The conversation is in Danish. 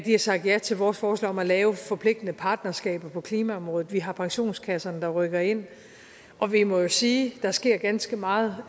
har sagt ja til vores forslag om at lave forpligtende partnerskaber på klimaområdet vi har pensionskasserne der rykker ind og vi må jo sige at der sker ganske meget